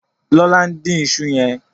lọla ǹ dín iṣu yen.